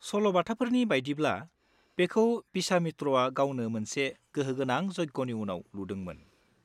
सल'बाथाफोरनि बायदिब्ला, बेखौ विश्वामित्रवा गावनो मोनसे गोहोगोनां यज्ञनि उनाव लुदोंमोन।